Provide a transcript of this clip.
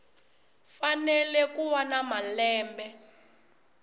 fanele ku va na malembe